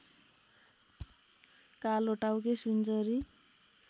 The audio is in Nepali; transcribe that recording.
कालोटाउके सुनचरी